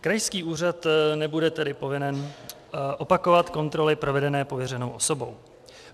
Krajský úřad nebude tedy povinen opakovat kontroly provedené pověřenou osobou.